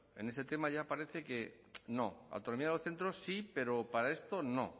en ese tema ya parece que no autonomía de los centros sí pero para esto no